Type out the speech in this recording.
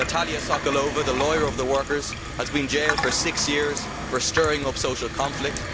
Natalia Sokolova, the lawyer of the workers, has been jailed for six years for stirring up social conflict.